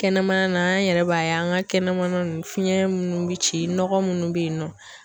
Kɛnɛmana na an yɛrɛ b'a ye an ka kɛnɛmana nunnu fiɲɛ munnu bi ci nɔgɔ munnu be yen nɔ